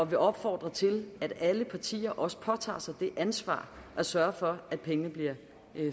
vil opfordre til at alle partier også påtager sig det ansvar at sørge for at pengene bliver